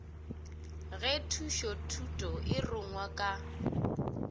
ge thušothuto e rungwa ka